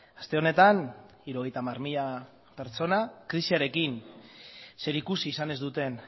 aste honetan hirurogeita hamar mila pertsona krisiarekin zerikusi izan ez duten